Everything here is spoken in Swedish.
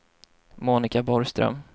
Monica Borgström